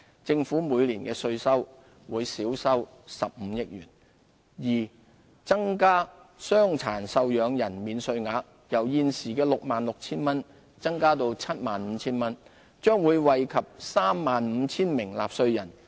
政府每年的稅收會減少15億元；二增加傷殘受養人免稅額，由現時 66,000 元增至 75,000 元，將惠及 35,000 名納稅人。